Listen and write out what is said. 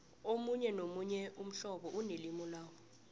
omunye nomunye umhlobo unelimu lawo